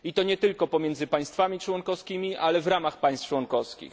I to nie tylko pomiędzy państwami członkowskimi, ale i w ramach państw członkowskich.